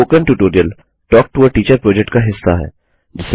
spoken tutorial talk to a teacher project का हिस्सा है